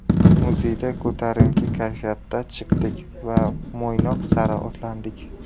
Muzeydan ko‘tarinki kayfiyatda chiqdik va Mo‘ynoq sari otlandik.